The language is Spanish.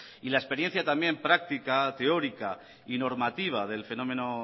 y la experiencia también práctica teórica y normativa del fenómeno